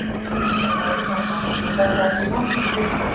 Kristján Már Unnarsson: Var þetta ekki vont í byrjun?